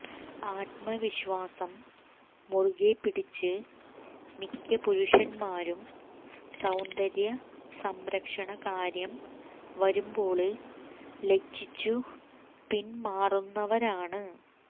ആത്മവിശ്വാസം മുറുകെപ്പിടിച്ച് മിക്ക പുരുഷന്മാരും സൌന്ദര്യ സംരക്ഷണ കാര്യം വരുമ്പോള് ലജ്ജിച്ചു പിന്മാറുന്നവരാണ്